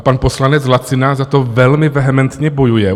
A pan poslanec Lacina za to velmi vehementně bojuje.